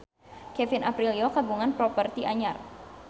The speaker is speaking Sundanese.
Kevin Aprilio kagungan properti anyar